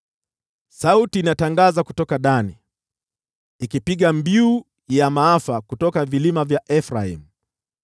Sauti inatangaza kutoka Dani, ikipiga mbiu ya maafa kutoka vilima vya Efraimu.